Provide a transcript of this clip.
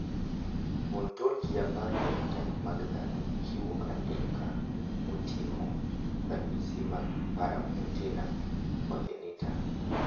Ontologia mar phenotype mag dhano ochiwo andika moting`o ranyisi mag Paramyotonia congenita.